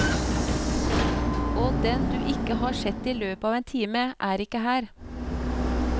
Og den du ikke har sett i løpet av en time, er ikke her.